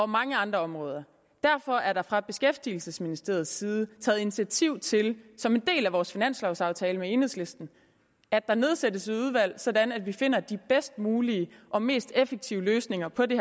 mange andre områder derfor er der fra beskæftigelsesministeriets side taget initiativ til som en del af vores finanslovaftale med enhedslisten at der nedsættes et udvalg sådan at vi finder de bedst mulige og mest effektive løsninger på det